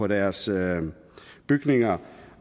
deres bygninger